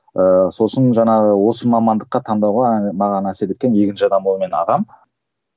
ыыы сосын жаңағы осы мамандыққа таңдауға маған әсер еткен екінші адам ол менің ағам